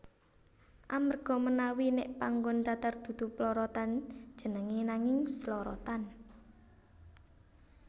Amarga menawi nèk panggon datar dudu plorotan jenengé nanging slorotan